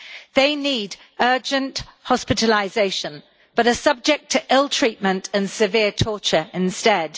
They need urgent hospitalisation, but are subject to ill treatment and severe torture instead.